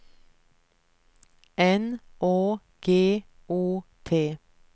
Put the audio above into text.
N Å G O T